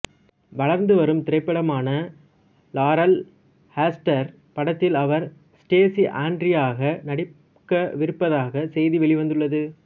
வளர்ந்துவரும் திரைப்படமான Laurel Hester படத்தில் அவர் ஸ்டேசி ஆண்ட்ரீயாக நடிக்கவிருப்பதாக செய்தி வெளிவந்துள்ளது